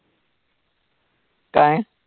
काय?